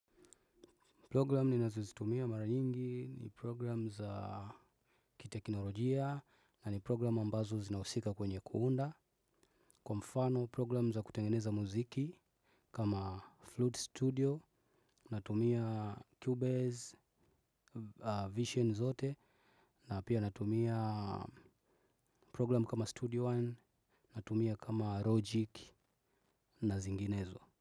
Program ni nazozitumia mara nyingi, ni program za, kiteknolojia. Na ni program ambazo zinausika kwenye kuunda. Kwa mfano program za kutengeneza muziki kama flute studio, natumia cubase, vision zote na pia natumia program kama studio one, natumia kama logic na zinginezo.